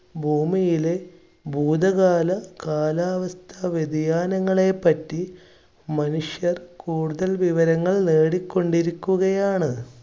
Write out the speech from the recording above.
ഭൂമിയിലെ ഭൂതകാല കാലാവസ്ഥ വ്യതിയാനങ്ങളെ പറ്റി മനുഷ്യർ കൂടുതൽ വിവരങ്ങൾ നേടി കൊണ്ടിരിക്കുകയാണ്.